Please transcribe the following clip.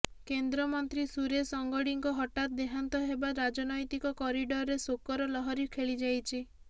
କେନ୍ଦ୍ର ମନ୍ତ୍ରୀ ସୁରେଶ ଅଙ୍ଗଡ଼ିଙ୍କ ହଠାତ୍ ଦେହାନ୍ତ ହେବା ରାଜନୈତିକ କରିଡରରେ ଶୋକର ଲହରୀ ଖେଳିଯାଇଛି